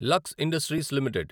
Lux industries limited